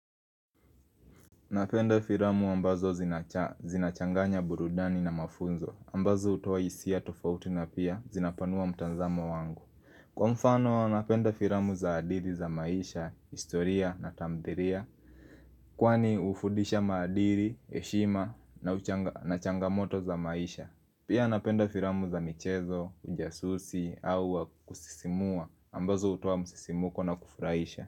Napenda firamu ambazo zinacha zinachanganya burudani na mafunzo ambazo hutoa hisia tofauti na pia zinapanua mtanzamo wangu Kwa mfano, napenda firamu za hadithi za maisha, historia na tamthiria Kwani hufudisha maadiri, heshima na uchanga na changamoto za maisha Pia napenda firamu za michezo, ujasusi au wa kusisimua ambazo hutoa msisimuko na kufuraisha.